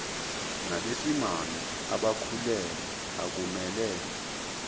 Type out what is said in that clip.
nabesimame abakhulelwe akumele